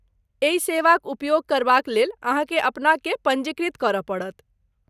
एहि सेवाक उपयोग करबा क लेल अहाँकेँ अपनाकेँ पञ्जीकृत करय पड़त।